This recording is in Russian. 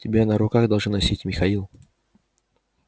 тебя на руках должны носить михаил